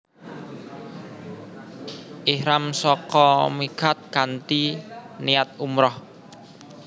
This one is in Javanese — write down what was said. Ihram saka miqat kanthi niat umrah